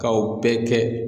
K'aw bɛɛ kɛ.